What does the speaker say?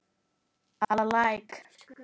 að Læk.